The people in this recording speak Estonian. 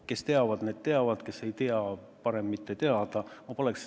Kes teavad, need teavad, kes ei tea, neil on parem mitte teada.